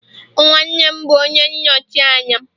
nwannem bu onye nnochi anya'm